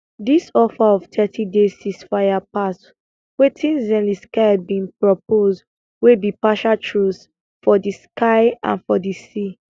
dis offer of thirty day ceasefire pass wetin zelensky bin propose wey be partial truce for di sky and for di sea